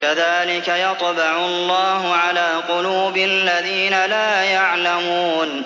كَذَٰلِكَ يَطْبَعُ اللَّهُ عَلَىٰ قُلُوبِ الَّذِينَ لَا يَعْلَمُونَ